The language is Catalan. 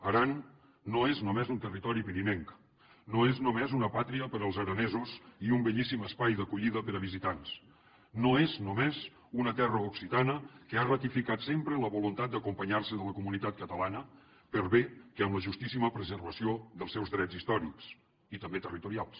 aran no és només un territori pirinenc no és només una pàtria per als aranesos i un bellíssim espai d’acollida per a visitants no és només una terra occitana que ha ratificat sempre la voluntat d’acompanyar se de la comunitat catalana per bé que amb la justíssima preservació dels seus drets històrics i també territorials